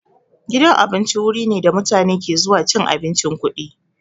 Gidan abinci wuri ne da mutane ke zuwa cin abincin kuɗi.